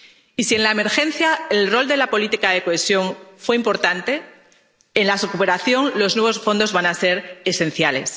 Y si en la emergencia el rol de la política de cohesión fue importante, en su superación los nuevos fondos van a ser esenciales.